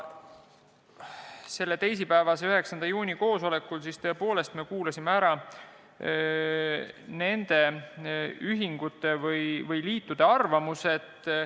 Selle teisipäevase, 9. juuni koosolekul kuulasime ära nende ühingute või liitude arvamuse.